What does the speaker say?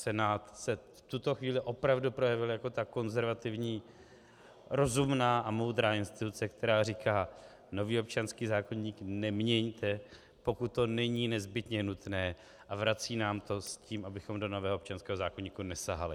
Senát se v tuto chvíli opravdu projevil jako ta konzervativní, rozumná a moudrá instituce, která říká "nový občanský zákoník neměňte, pokud to není nezbytně nutné", a vrací nám to s tím, abychom do nového občanského zákoníku nesahali.